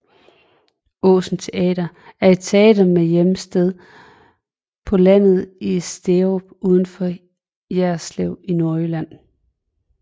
Åsen Teater er et teater med hjemsted på landet i Sterup udenfor Jerslev i Nordjylland